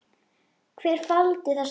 Hver faldi þessa gjöf?